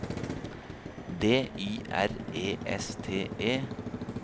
D Y R E S T E